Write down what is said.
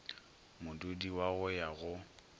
modudi wa go ya go